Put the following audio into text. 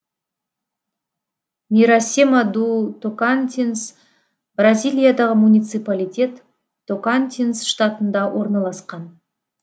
мирасема ду токантинс бразилиядағы муниципалитет токантинс штатында орналасқан